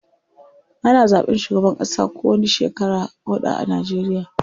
Ana zaɓen shugaban ƙasa ko wani shekara huɗu a Najeriya.